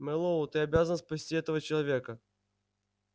мэллоу ты обязан спасти этого человека